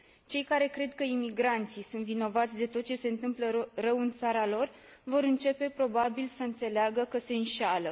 Cei care cred că imigranții sunt vinovați de tot ce se întâmplă rău în țara lor vor începe probabil să înțeleagă că se înșeală.